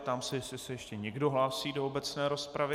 Ptám se, jestli se ještě někdo hlásí do obecné rozpravy.